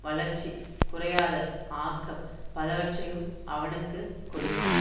வளர்ச்சி குறையாத ஆக்கம் பலவற்றையும் அவனுக்கு கொடுக்கும்